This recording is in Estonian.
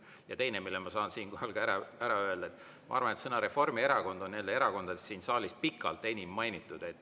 Ja teine, mille ma saan siinkohal ka ära öelda, et ma arvan, et sõna "Reformierakond" on jälle erakondadest siin saalis pikalt enim mainitud.